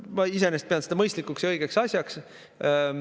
Ma iseenesest pean seda mõistlikuks ja õigeks asjaks.